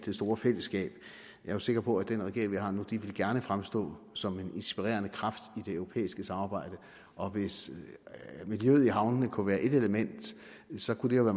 store fællesskab jeg er sikker på at den regering vi har nu gerne vil fremstå som en inspirerende kraft i det europæiske samarbejde og hvis miljøet i havnene kunne være et element så kunne det jo